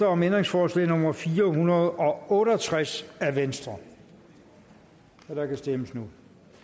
om ændringsforslag nummer fire hundrede og otte og tres af v og der kan stemmes nu